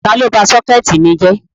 Tàlọ bá sọkẹtì mi jẹ́?